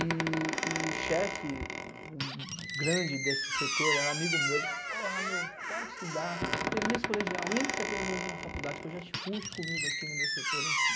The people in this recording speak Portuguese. E e o chefe grande desse setor, ele era amigo meu, ele, porra, meu, volta a estudar, termina esse colegial, entra pelo menos em uma faculdade que eu já te puxo comigo aqui no meu setor, enfim.